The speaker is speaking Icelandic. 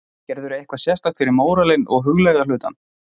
Gerirðu eitthvað sérstakt fyrir móralinn og huglæga hlutann?